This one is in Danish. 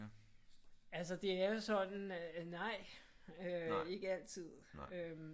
Altså det er jo sådan nej øh ikke altid øh